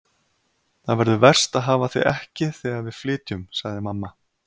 Það verður verst að hafa þig ekki þegar við flytjum sagði mamma.